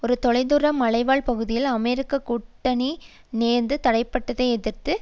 ஒரு தொலை தூர மலைவாழ் பகுதியில் அமெரிக்க கூட்டணி ரோந்து தரைப்படையை எதிர்த்து